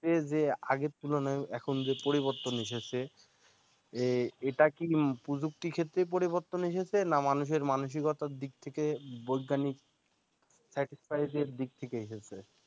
আগের তুলনায় এখন যে পরিবর্তন এসেছে এটা কি প্রযুক্তি ক্ষেত্রে পরিবর্তনএসেছে না মানুষের মানসিকতার দিক থেকে বৈজ্ঞানিক side থেকে এসেছে